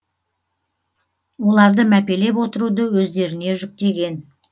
оларды мәпелеп отыруды өздеріне жүктеген